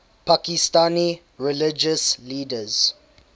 pakistani religious leaders